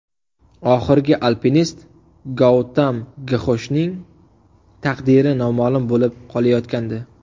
Oxirgi alpinist Goutam Gxoshning taqdiri noma’lum bo‘lib qolayotgandi.